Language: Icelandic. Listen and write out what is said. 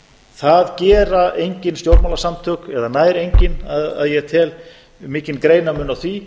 það gera engin stjórnmálasamtök eða nær engin að ég tel mikinn greinarmun á því